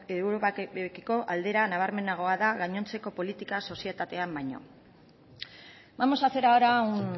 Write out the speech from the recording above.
europarekiko aldera nabarmenagoa da gainontzeko politika sozietatean baino vamos a hacer ahora un